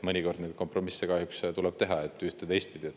Mõnikord kompromisse kahjuks tuleb teha, ühte- ja teistpidi.